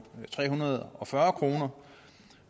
tre hundrede og fyrre kr